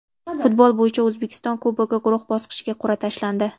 Futbol bo‘yicha O‘zbekiston Kubogi guruh bosqichiga qur’a tashlandi.